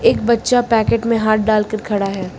एक बच्चा पैकेट में हाथ डाल के खड़ा है।